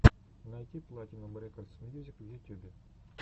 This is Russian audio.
найти платинум рекордс мьюзик в ютюбе